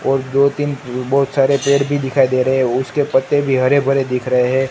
और दो तीन बहुत सारे पेड़ भी दिखाई दे रहे हैं उसके पत्ते भी हरे भरे दिख रहे है।